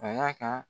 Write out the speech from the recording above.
A y'a ka